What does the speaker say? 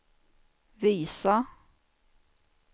visa